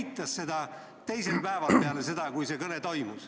Ta eitas seda teisel päeval peale seda, kui see kõne toimus.